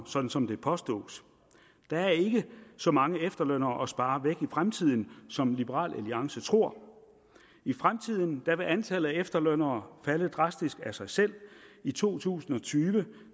sådan som det påstås der er ikke så mange efterlønnere at spare væk i fremtiden som liberal alliance tror i fremtiden vil antallet af efterlønnere falde drastisk af sig selv i to tusind og tyve